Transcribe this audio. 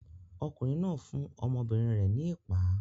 Ọkùnrin náà fún ọmọbìnrin rẹ̀ ní ìpá.